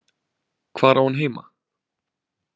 Hvar á hann heima?